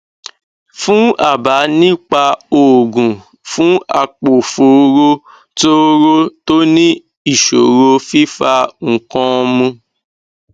fún àbá nípa oògùn fún àpòfóró tóóró tó ní ìṣòro fífa nǹkan mu